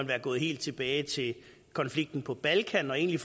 være gået helt tilbage til konflikten på balkan og egentlig